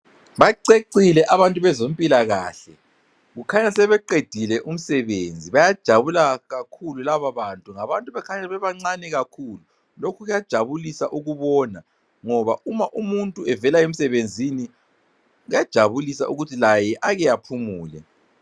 Bacecile abantu bezompilakahle , kukhanya sebeqedile umsebenzi bayajabula kakhulu laba bantu, ngabantu bekhanya bebancane kakhulu lokhu kuyajabulisa ukubona ngoba uma umuntu evela emsebenzini kuyajabulisa ukuthi laye ake aphumule.